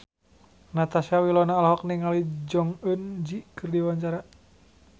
Natasha Wilona olohok ningali Jong Eun Ji keur diwawancara